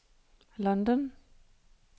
London